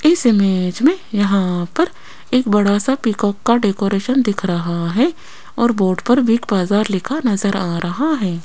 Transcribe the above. इस इमेज में यहां पर एक बड़ा सा पीकॉक का डेकोरेशन दिख रहा हैं और बोर्ड पर बिग बाजार लिखा नजर आ रहा हैं।